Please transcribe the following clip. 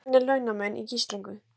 Almennir launamenn í gíslingu